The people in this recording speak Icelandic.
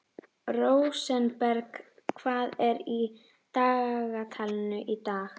Rósenberg, hvað er í dagatalinu í dag?